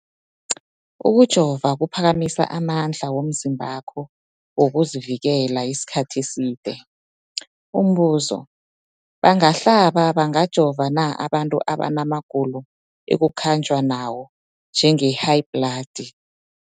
Ukujova kuphakamisa amandla womzimbakho wokuzivikela isikhathi eside. Umbuzo, bangahlaba, bangajova na abantu abana magulo ekukhanjwa nawo, njengehayibhladi?